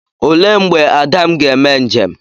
Olee mgbe Adam ga-eme njem?